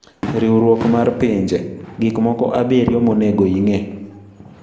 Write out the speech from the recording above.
Riwruok mar Pinje:Gik moko abiriyo monego ing'e